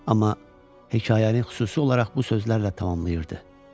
Amma hekayəni xüsusi olaraq bu sözlərlə tamamlayırdı: